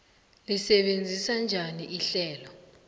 lisebenza njani ihlelo